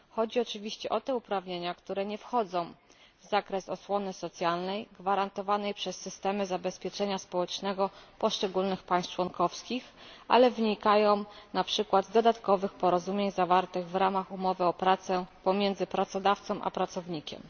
Chodzi oczywiście o te uprawnienia, które nie wchodzą w zakres osłony socjalnej gwarantowanej przez systemy zabezpieczenia społecznego poszczególnych państw członkowskich, ale wynikają np. z dodatkowych porozumień zawartych w ramach umowy o pracę pomiędzy pracodawcą a pracownikiem.